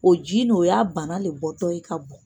O ji nin o y'a bana le bɔtɔ ye ka bɔn.